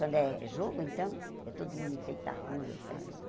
Quando é é jogo, então, é todo mundo em frente à rua para essas